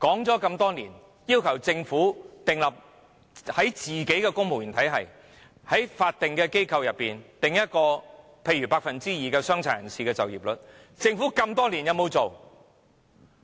我們多年來一直要求政府為公務員體系和法定機構訂定某個百分比的傷殘人士就業率，政府有否實行？